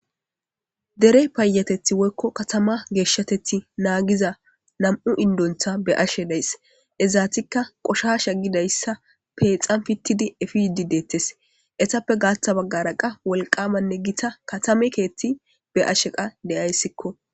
Dere payatetha woyko katama geshatithi nam'u indeti be'ashe dasi Izetika qoshasha gizaysa peyxan pitidi epifidi deetes. etappe gaatha bagara qase wolqama katama karethi be'ashe de'aysiko.